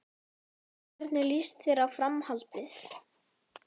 Hvernig líst þér á Framhaldið?